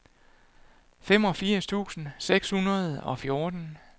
femogfirs tusind seks hundrede og fjorten